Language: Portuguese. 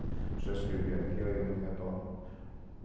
Só escrever aqui, aí eu me retorno.